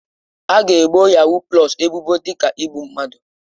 A ga-ebo yahuu pụlọs ebubo dị ka igbu mmadụ.